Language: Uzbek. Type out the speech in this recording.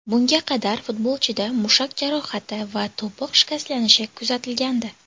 Bunga qadar futbolchida mushak jarohati va to‘piq shikastlanishi kuzatilgandi.